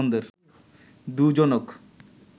দুজনক